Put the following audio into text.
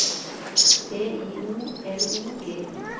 B I O L O G I